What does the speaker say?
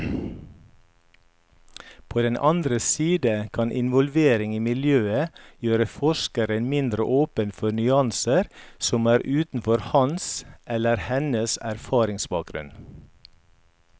På den andre side kan involvering i miljøet gjøre forskeren mindre åpen for nyanser som er utenfor hans eller hennes erfaringsbakgrunn.